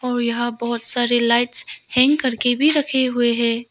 और यहां बहोत सारे लाइट्स हैंग करके भी रखे हुए हैं।